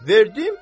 Verdim?